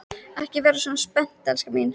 Ekki vera svona spennt, elskan mín.